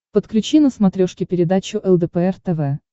подключи на смотрешке передачу лдпр тв